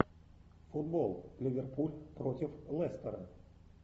футбол ливерпуль против лестера